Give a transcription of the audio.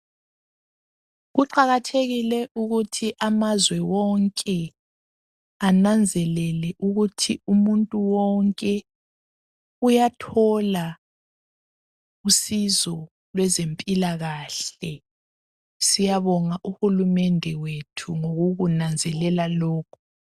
Kuqakathekile ukuthi amazwe wonke ananzelele ukuthi umuntu wonke uyathola usizo lwezempilakahle Siyabonga uhulumende wethu ngokukunanzelela lokhu.